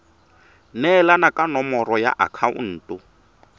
neelana ka nomoro ya akhaonto